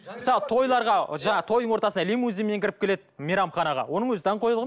мысалы тойларға жаңа тойдың ортасына лимузинмен кіріп келеді мейрамханаға оның өзі даңғойлық